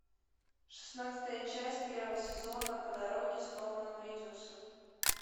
шестнадцатая часть первого сезона по дороге с норманом ридусом